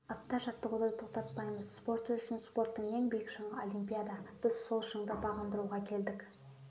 апта жаттығуды тоқтатпаймыз спортшы үшін спорттың ең биік шыңы олимпиада біз сол шыңды бағындыруға келдік